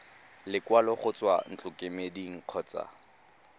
lekwalo go tswa ntlokemeding kgotsa